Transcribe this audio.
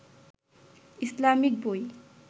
Islamic বই